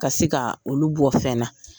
Ka se ka olu bɔ fɛn na.